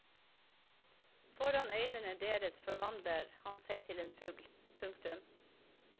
Foran øynene deres forvandler han seg til en fugl. punktum